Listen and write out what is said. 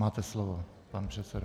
Máte slovo, pane předsedo.